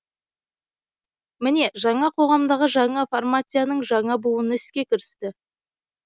міне жаңа қоғамдағы жаңа формацияның жаңа буыны іске кірісті